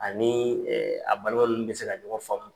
Ani a balima ninnu bƐ ka ɲɔgɔn faamu.